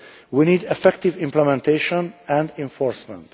we need effective implementation and enforcement.